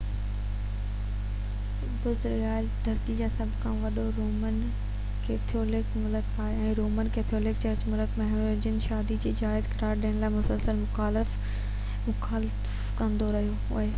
Brazil ڌرتي تي سڀ کان وڏو رومن ڪيٿولڪ ملڪ آهي ۽ رومن ڪيٿولڪ چرچ ملڪ ۾ هم-جنسي شادي کي جائز قرار ڏيڻ جي مسلسل مخالفت ڪندو رهيو آهي